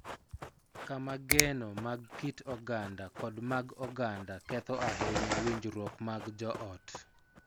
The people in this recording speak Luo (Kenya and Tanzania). Kama geno mag kit oganda kod mag oganda ketho ahinya winjruok mag joot.